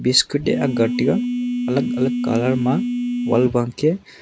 biscut e akga tega alag alag colour ma wall bangke.